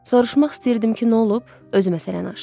Soruşmaq istəyirdim ki, nə olub, özü məsələni açdı.